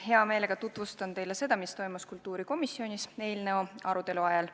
Hea meelega tutvustan teile seda, mis toimus kultuurikomisjonis eelnõu arutelu ajal.